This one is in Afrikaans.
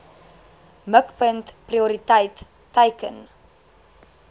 mikpunt prioriteit teiken